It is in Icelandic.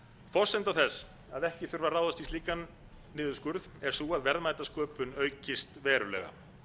forsenda þess að ekki þurfi að ráðast í slíkan niðurskurð er sú að verðmætasköpun aukist verulega